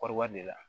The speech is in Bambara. Kɔɔri ba de la